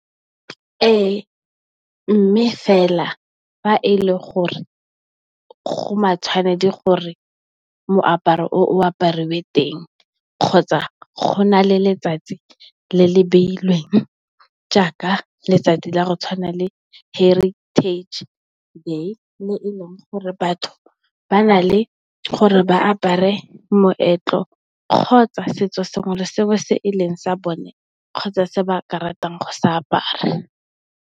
Ee mme, fela fa e le gore go matshwanedi gore moaparo o o aparwe teng kgotsa go na le letsatsi le le beilweng jaaka, letsatsi la go tshwana le Heritage day, mo e leng gore batho ba na le gore ba apare moetlo kgotsa setso sengwe le sengwe se e leng sa bone kgotsa se ba ka ratang go se apara.